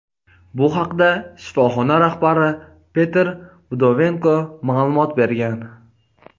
Bu haqda shifoxona rahbari Petr Vdovenko ma’lumot bergan.